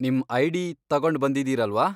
ನಿಮ್ ಐ.ಡಿ. ತಗೊಂಡ್ ಬಂದಿದೀರಲ್ವಾ?